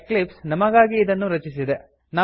Eclipse ನಮಗಾಗಿ ಇದನ್ನು ರಚಿಸಿದೆ